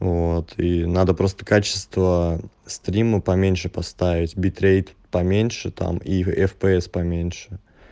вот и надо просто качество стрима поменьше поставить битрейт поменьше там и фпс поменьше